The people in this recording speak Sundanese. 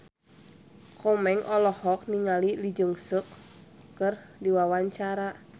Komeng olohok ningali Lee Jeong Suk keur diwawancara